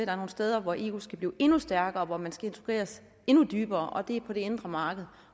er nogle steder hvor eu skal blive endnu stærkere og hvor man skal integreres endnu dybere og det er på det indre marked